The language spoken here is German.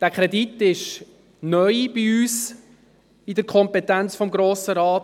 Dieser Kredit liegt neu in der Kompetenz des Grossen Rates.